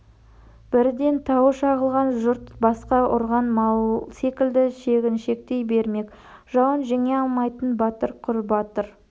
бірден тауы шағылған жұрт басқа ұрған мал секілді шегіншектей бермек жауын жеңе алмайтын батыр құр батыр